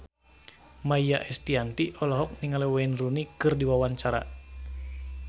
Maia Estianty olohok ningali Wayne Rooney keur diwawancara